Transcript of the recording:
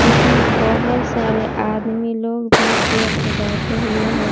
इसमें बहोत सारे आदमी लोग भी चेयर पे बैठे हुए हैं।